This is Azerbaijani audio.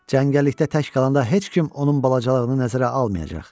Cəngəllikdə tək qalanda heç kim onun balacalığını nəzərə almayacaq.